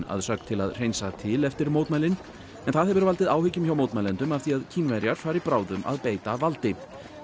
að sögn til að hreinsa til eftir mótmælin en það hefur valdið áhyggjum hjá mótmælendum af því að Kínverjar fari bráðum að beita valdi